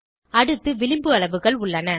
அடுத்து விளிம்பு அளவுகள் உள்ளன